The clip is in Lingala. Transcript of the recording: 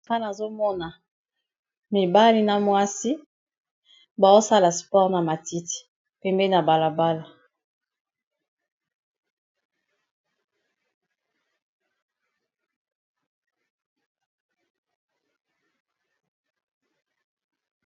Awa nazomona mibali na mwasi baosala spore na matiti pembeni ya balabala.